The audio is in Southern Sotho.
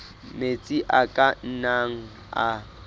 metsi a ka nnang a